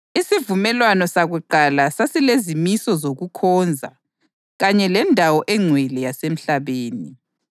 Isivumelwano sakuqala sasilezimiso zokukhonza kanye lendawo engcwele yasemhlabeni.